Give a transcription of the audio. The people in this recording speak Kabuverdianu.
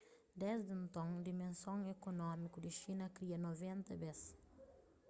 desdi nton dimenson ekonómiku di xina kria 90 bes